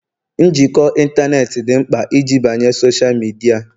njikọ ịntanetị dị mkpa iji banye na Sọsha midia